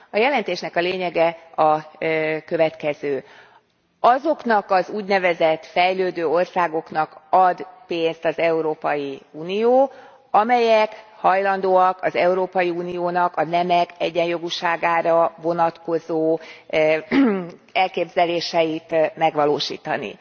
A jelentésnek a lényege a következő azoknak az úgynevezett fejlődő országoknak ad pénzt az Európai Unió, amelyek hajlandóak az Európai Uniónak a nemek egyjogúságára vonatkozó elképzeléseit megvalósítani.